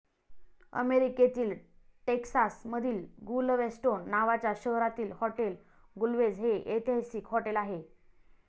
अमेरीकेतील टेक्सास मधिल गुलवेस्टोन नावाच्या शहरातील हॉटेल गुलवेझ हे ऐतिहसिक हॉटेल आहे.